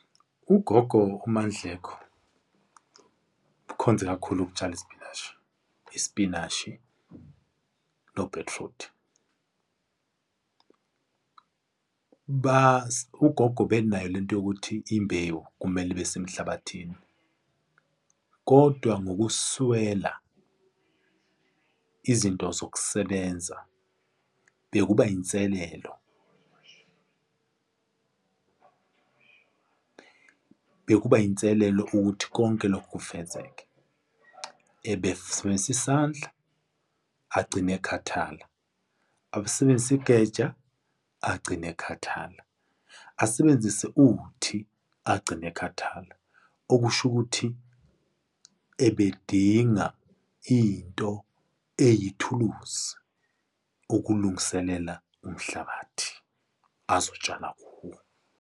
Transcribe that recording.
UGogo uMaNdleko, ukhonze kakhulu ukutshala isipinashi, isipinashi nobhithrudi. Ugogo ubenayo lento yokuthi imbewu kumele ibesemhlabathini kodwa ngokuswela izinto zokusebenza bekuba inselelo. Bekuba inselelo ukuthi konke lokhu kufezeke, ebesebenzisa isandla agcine ekhathala, abesebenzise igeja agcine akhathala, asebenzise uthi agcine ekhathala. Okushukuthi ebedinga into eyithuluzi ukulungiselela umhlabathi azotshala kuwo.